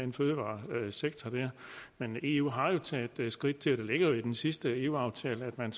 en fødevaresektor men eu har jo taget skridt til det ligger i den sidste eu aftale at man